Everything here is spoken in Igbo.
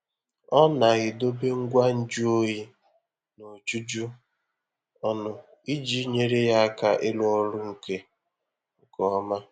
Ọ na-edobe ngwa nju oyi n'ojuju ọnụ iji nyere ya aka ịrụ ọrụ nke nke ọma.